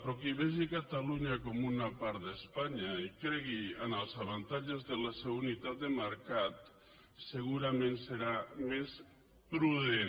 però qui vegi catalunya com una part d’espanya i cregui amb els avantatges de la seva unitat de mercat segurament serà més prudent